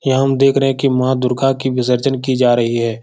यहाँ हम देख रहें हैं कि माँ दुर्गा की विषर्जन की जा रही है।